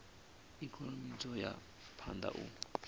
ikonomi dzo ya phanda u